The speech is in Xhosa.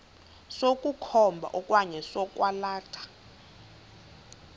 sokukhomba okanye sokwalatha